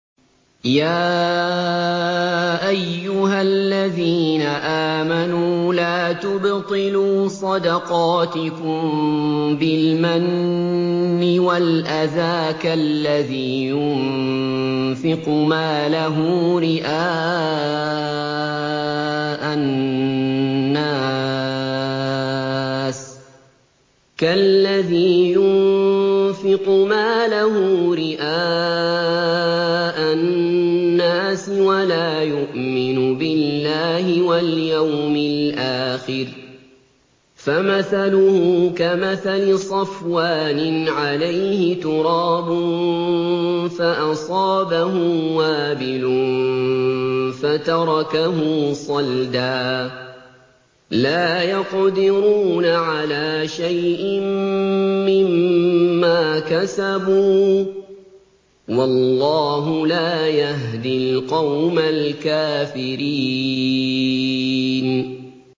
يَا أَيُّهَا الَّذِينَ آمَنُوا لَا تُبْطِلُوا صَدَقَاتِكُم بِالْمَنِّ وَالْأَذَىٰ كَالَّذِي يُنفِقُ مَالَهُ رِئَاءَ النَّاسِ وَلَا يُؤْمِنُ بِاللَّهِ وَالْيَوْمِ الْآخِرِ ۖ فَمَثَلُهُ كَمَثَلِ صَفْوَانٍ عَلَيْهِ تُرَابٌ فَأَصَابَهُ وَابِلٌ فَتَرَكَهُ صَلْدًا ۖ لَّا يَقْدِرُونَ عَلَىٰ شَيْءٍ مِّمَّا كَسَبُوا ۗ وَاللَّهُ لَا يَهْدِي الْقَوْمَ الْكَافِرِينَ